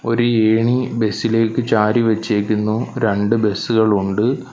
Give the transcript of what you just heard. ഒരു ഏണി ബസ് ഇലേക്ക് ചാരി വെച്ചേക്കുന്നു രണ്ട് ബസ് കളുണ്ട്.